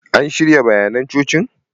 An shirya bayanan cocin?